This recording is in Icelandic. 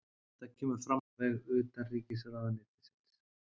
Þetta kemur fram á vef utanríkisráðuneytisins